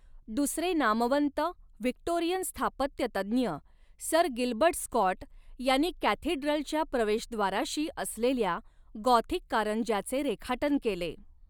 दुसरे नामवंत व्हिक्टोरियन स्थापत्यतज्ञ सर गिल्बर्ट स्कॉट यांनी कॅथीड्रलच्या प्रवेशद्वाराशी असलेल्या गॉथिक कारंज्याचे रेखाटन केले.